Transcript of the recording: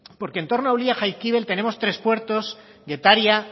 porque en torno a ulia jaizkibel tenemos tres puertos getaria